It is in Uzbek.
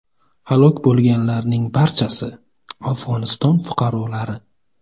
Halok bo‘lganlarning barchasi Afg‘oniston fuqarolari.